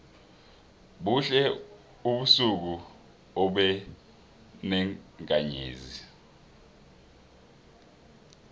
buhle ubusuku obenenkanzezi